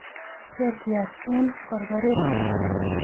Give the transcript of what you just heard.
ketiach eng korkoret